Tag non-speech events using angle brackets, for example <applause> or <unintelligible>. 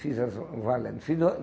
Fizeram assim hum valendo. <unintelligible>